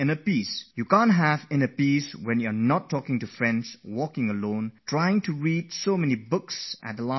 If you don't speak to your friends, walk alone, and your face droops flipping through the pages of so many books at the last moment, then you cannot have peace of mind